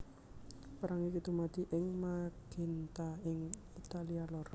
Perang iki dumadi ing Magenta ing Italia lor